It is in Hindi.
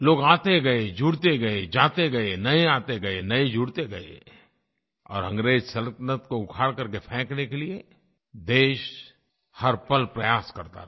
लोग आते गए जुड़ते गए जाते गए नये आते गए नये जुड़ते गए और अंग्रेज़ सल्तनत को उखाड़ करके फेंकने के लिये देश हर पल प्रयास करता रहा